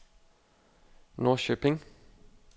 Norrköping